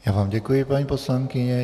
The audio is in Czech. Já vám děkuji, paní poslankyně.